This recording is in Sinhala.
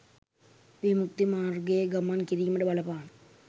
විමුක්ති මාර්ගයේ ගමන් කිරීමට බලපාන